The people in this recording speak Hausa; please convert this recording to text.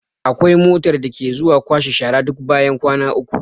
Akwai motar da ke zuwa kwashe shara duk bayan kwana uku.